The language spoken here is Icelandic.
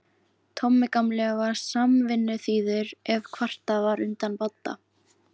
Tommi gamli var samvinnuþýður ef kvartað var undan Badda.